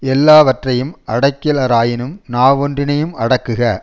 எல்லாவற்றையும் அடக்கிலராயினும் நாவொன்றினையும் அடக்குக